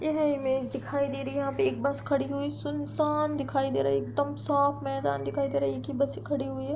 यह इमेज दिखाई दे रही है यहाँ पे एक बस खड़ी हुई सुनसान दिखाई दे रही एकदम साफ़ मैदान दिखाई दे रही एक ही बस खड़ी हुई है।